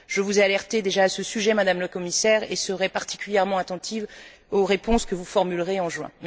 Je vous ai déjà alertée à ce sujet, Madame la Commissaire, et serai particulièrement attentive aux réponses que vous formulerez en juin.